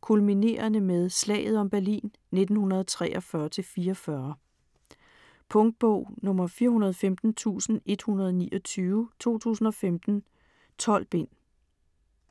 kulminerende med "slaget om Berlin" 1943-44. Punktbog 415129 2015. 12 bind.